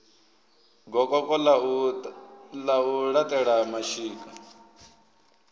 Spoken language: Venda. gokoko ḽa u laṱela mashika